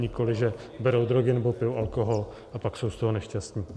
Nikoli že berou drogy nebo pijou alkohol a pak jsou z toho nešťastní.